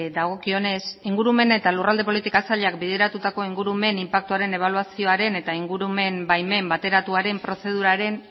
dagokionez ingurumen eta lurralde politika sailak bideratutako ingurumen inpaktuaren ebaluazioaren eta ingurumen baimen bateratuaren prozeduraren